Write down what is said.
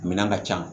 Minɛn ka ca